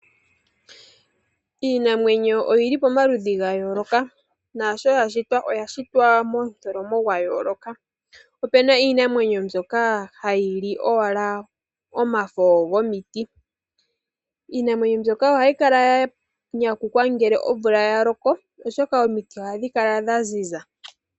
Iinamwenyo oyili pomaludhi ga yooloka naasho ya shitwa oya shitwa momutholomo gwa yooloka. Opena iinamwenyo mbyoka hayi li owala omafo gomiti. Iinamwenyo mbyoka ohayi kala ya nyanyukwa ngele omvula ya loko oshoka omiti ohadhi kala dha ziza.